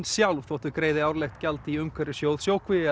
sjálf þótt þau greiði árlegt gjald í umhverfissjóð